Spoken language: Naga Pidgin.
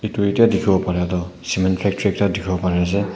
etu etya dikhiwo paria toh cement factory dikhiwo pare ase.